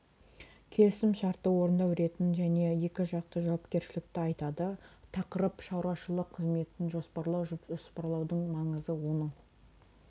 келісім шартты орындау ретін және екі жақты жауапкершілікті айтады тақырып шаруашылық қызметін жоспарлау жоспарлаудың маңызы оның